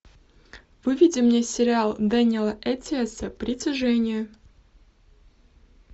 выведи мне сериал дэниэла эттиоса притяжение